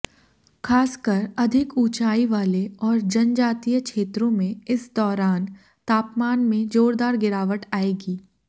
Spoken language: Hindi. खासकर अधिक ऊंचाई वाले और जनजातीय क्षेत्रों में इस दौरान तापमान में जोरदार गिरावट आएगी